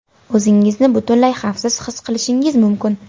O‘zingizni butunlay xavfsiz his qilishingiz mumkin.